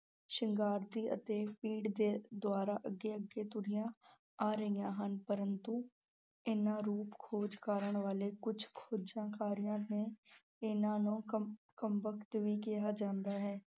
ਸ਼ਿੰਗਾਰਦੀ ਅਤੇ ਪੀੜ੍ਹ ਦੇ ਦੁਆਰਾ ਅੱਗੇ ਅੱਗੇ ਤੁਰੀਆਂ ਆ ਰਹੀਆਂ ਹਨ, ਪਰੰਤੂ ਇਹਨਾਂ ਰੂਪ ਖੋਜ ਕਰਨ ਵਾਲੇ ਕੁਝ ਖੋਜਾਂਕਾਰੀਆਂ ਨੇ ਇਹਨਾਂ ਨੂੰ ਕਮ~ ਕਮਬਖ਼ਤ ਵੀ ਕਿਹਾ ਜਾਂਦਾ ਹੈ।